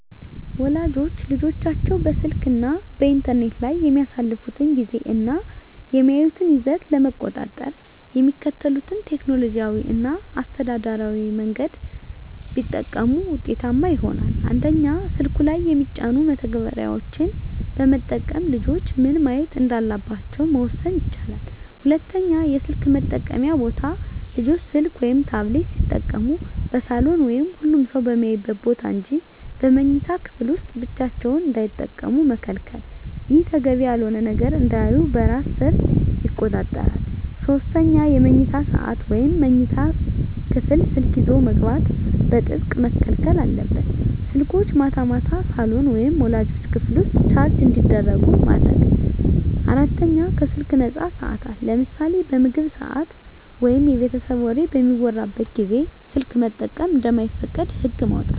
ወላጆች ልጆቻቸው በስልክ እና በኢንተርኔት ላይ የሚያሳልፉትን ጊዜ እና የሚያዩትን ይዘት ለመቆጣጠር የሚከተሉትን ቴክኖሎጂያዊ እና አስተዳደራዊ መንገዶች ቢጠቀሙ ውጤታማ ይሆናል፦ 1)ስልኩ ላይ የሚጫኑ መተግበሪያዎችን በመጠቀም ልጆች ምን ማየት እንዳለባቸው መወሰን ይቻላል። 2)የስልክ መጠቀምያ ቦታ: ልጆች ስልክ ወይም ታብሌት ሲጠቀሙ በሳሎን ወይም ሁሉም ሰው በሚያይበት ቦታ እንጂ በመኝታ ክፍል ውስጥ ብቻቸውን እንዳይጠቀሙ መከልከል። ይህ ተገቢ ያልሆነ ነገር እንዳያዩ በራስ ሰር ይቆጣጠራል። 3)የመኝታ ሰዓት: ወደ መኝታ ክፍል ስልክ ይዞ መግባት በጥብቅ መከልከል አለበት። ስልኮች ማታ ማታ ሳሎን ወይም ወላጆች ክፍል ውስጥ ቻርጅ እንዲደረጉ ማድረግ። 4)ከስልክ ነፃ ሰዓታት: ለምሳሌ በምግብ ሰዓት ወይም የቤተሰብ ወሬ በሚወራበት ጊዜ ስልክ መጠቀም እንደማይፈቀድ ህግ ማውጣት።